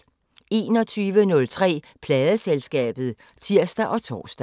21:03: Pladeselskabet (tir og tor)